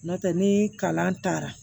N'o tɛ ni kalan taara